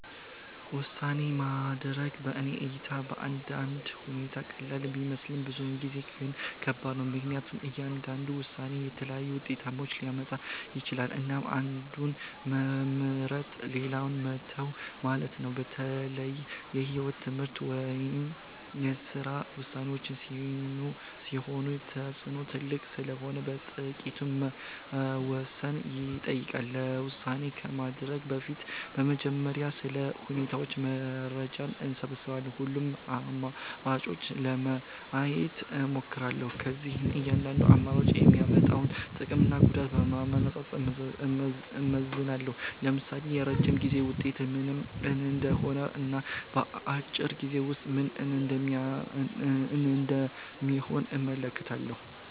ውሳኔ ማድረግ በእኔ እይታ በአንዳንድ ሁኔታ ቀላል ቢመስልም ብዙ ጊዜ ግን ከባድ ነው። ምክንያቱም እያንዳንዱ ውሳኔ የተለያዩ ውጤቶችን ሊያመጣ ይችላል፣ እና አንዱን መምረጥ ሌላውን መተው ማለት ነው። በተለይ የህይወት፣ የትምህርት ወይም የስራ ውሳኔዎች ሲሆኑ ተጽዕኖው ትልቅ ስለሆነ በጥንቃቄ መወሰን ይጠይቃል። ውሳኔ ከማድረግ በፊት በመጀመሪያ ስለ ሁኔታው መረጃ እሰብስባለሁ። ሁሉንም አማራጮች ለማየት እሞክራለሁ። ከዚያም እያንዳንዱ አማራጭ የሚያመጣውን ጥቅምና ጉዳት በማነጻጸር እመዝናለሁ። ለምሳሌ የረጅም ጊዜ ውጤት ምን እንደሚሆን እና አጭር ጊዜ ውጤት ምን እንደሚሆን እመለከታለሁ።